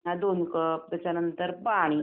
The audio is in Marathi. अ दोन कप त्याच्यानंतर पाणी